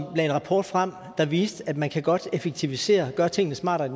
lagde en rapport frem der viste at man godt kan effektivisere og gøre tingene smartere i